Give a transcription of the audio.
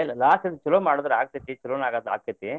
ಇಲ್ರಿ loss ಇಲ್ರಿ ಚೊಲೋ ಮಾಡಿದ್ರ ಆಗ್ತೈತಿ ಚೊಲೋನ ಆಗ್~ ಆಕ್ಕೆತಿ